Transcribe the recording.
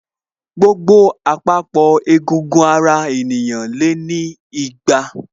Gbogbo àpapọ̀ egungun ara ènìyàn lé ní igba